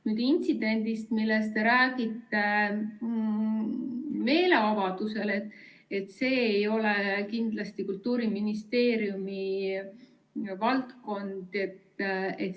Nüüd, intsident meeleavaldusel, millest te räägite, ei kuulu kindlasti Kultuuriministeeriumi valdkonda.